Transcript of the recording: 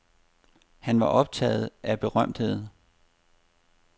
Han var optaget af berømtheder.